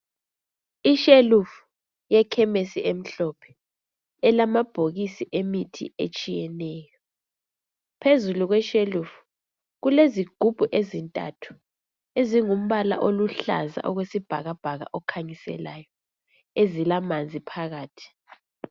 Ishelufu yekhemisi emhlophe elamabhokisi emithi etshiyeneyo. Phezulu kweshelufu kulezigubhu ezintathu ezingumbala oluhlaza okwesibhakabhaka okhanyiselayo ezilamanzi phakathi.